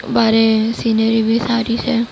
બારે સીનરી બી સારી છે.